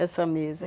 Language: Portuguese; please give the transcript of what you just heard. Essa mesa.